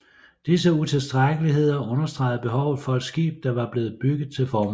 Disse utilstrækkeligheder understegede behovet for et skib der var blevet bygget til formålet